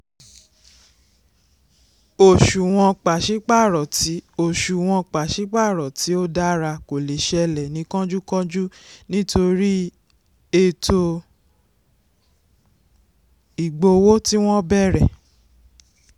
òṣùwọ̀n pàsípàrọ̀ tí òṣùwọ̀n pàsípàrọ̀ tí ó dára kò lè ṣẹlẹ̀ ní kọ́njúkọ́njú nítorí ètò ìgbowó tí wọ́n bẹ̀rẹ̀.